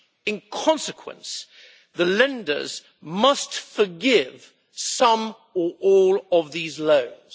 In consequence, the lenders must forgive some or all of these loans.